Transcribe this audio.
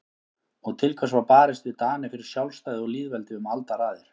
Og til hvers var barist við Dani fyrir sjálfstæði og lýðveldi um aldaraðir?